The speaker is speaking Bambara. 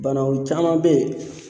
Banaw caman bɛ yen.